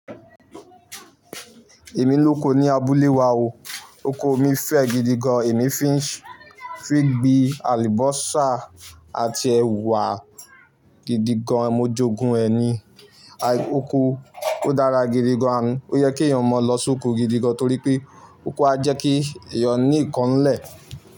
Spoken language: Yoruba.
Èmi lóko ní abúlé wa o. Oko mi fẹ́ gidi gan. Èmi fi ń gbin àlùbọ́sà àti ẹ̀wà gidi gan. Mo jogún rè ni. Oko ó dára gidi gan-an. Ó yẹ kí èyàn mọ lọ s'óko gidi gan torí pé oko a jẹ́ kí ẹ̀yàn ní nkán n'lẹ̀